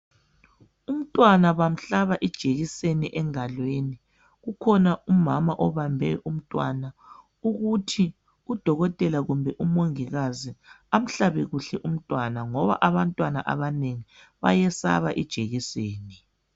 Umntwana bamhlaba ijekiseni engalweni. Kukhona umama obambe umntwana ukuthi udokotela kumbe umongikazi amhlabe kuhle umntwana, ngoba abantwana abanengi bayesaba ijekiseni.